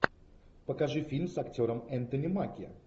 покажи фильм с актером энтони маки